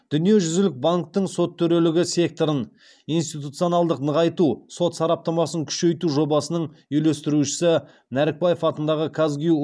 дүниежүзілік банктің сот төрелігі секторын институционалдық нығайту сот сараптамасын күшейту жобасының үйлестірушісі нәрікбаев атындағы казгюу